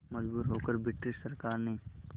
मजबूर होकर ब्रिटिश सरकार ने